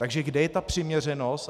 Takže kde je ta přiměřenost?